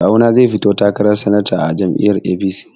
Kawuna zai fito takarar sanata a jam'iyyar APC.